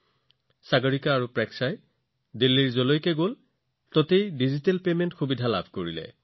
সাগৰিকা আৰু প্ৰেক্ষা দিল্লীৰ যতেই গৈছিল তেওঁলোকে ডিজিটেল পৰিশোধৰ সুবিধা লাভ কৰিছিল